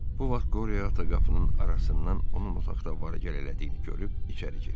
Bu vaxt Qoriyo ata qapının arasından onun otaqda var-gəl elədiyini görüb içəri girdi.